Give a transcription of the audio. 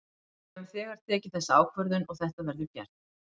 Við höfum þegar tekið þessa ákvörðun og þetta verður gert.